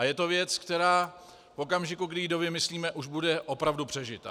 A je to věc, která v okamžiku, kdy ji dovymyslíme, už bude opravdu přežitá.